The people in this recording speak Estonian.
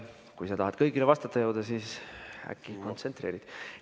Kui sa tahad kõigile vastata jõuda, siis äkki kontsentreerid.